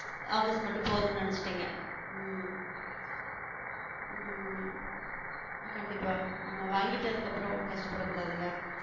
Office மட்டும் போதும்னு நினைச்சுட்டீங்க உம் கண்டிப்பா அவங்க வாங்கிட்டு அதுக்கப்புறம் கஷ்டப்படக் கூடாதுல்ல